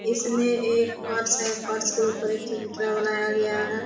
इसमें एक पर्स है पर्स के ऊपर एक चरित्रा बनाया गया है।